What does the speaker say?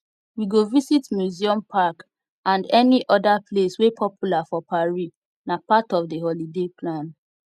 we go visit museum park and any other place wey popular for paris nah part of di holiday plan